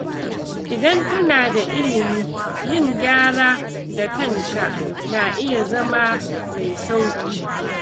Idan kana da ilimi, yin gyara da kanka na iya zama mai sauƙi.